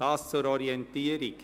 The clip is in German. Soviel zur Orientierung.